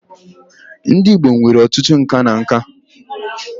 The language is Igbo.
Ndị Igbo nwere ọtụtụ nka na nka